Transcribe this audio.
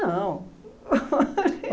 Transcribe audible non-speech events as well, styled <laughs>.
Não <laughs>